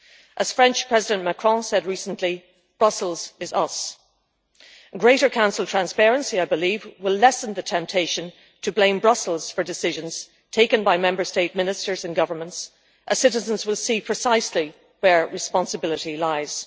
As the French President Macron said recently, Brussels is us' and greater Council transparency will, I believe, lessen the temptation to blame Brussels for decisions taken by Member State Ministers and Governments as citizens will see precisely where responsibility lies.